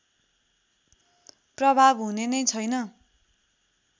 प्रभाव हुने नै छैन